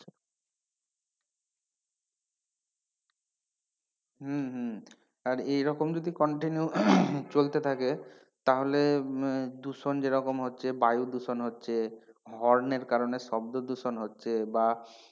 হম হম আর এরকম যদি continue চলতে থাকে তাহলে দূষণ যেরকম হচ্ছে বায়ুদূষণ হচ্ছে horn এর কারণে শব্দ দূষণ হচ্ছে বা,